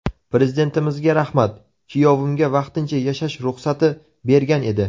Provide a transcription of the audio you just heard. Prezidentimizga rahmat, kuyovimga vaqtincha yashash ruxsati bergan edi.